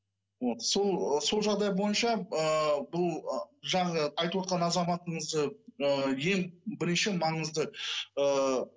вот сол жағдай бойынша ыыы бұл ы жаңағы айтып отырған азаматымызды ы ең бірінші маңызды ыыы